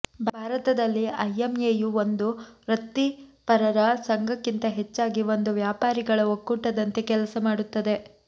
ಭಾರತದಲ್ಲಿ ಐಎಂಎಯು ಒಂದು ವೃತ್ತಿಪರರ ಸಂಘಕ್ಕಿಂತ ಹೆಚ್ಚಾಗಿ ಒಂದು ವ್ಯಾಪಾರಿಗಳ ಒಕ್ಕೂಟದಂತೆ ಕೆಲಸ ಮಾಡುತ್ತದೆ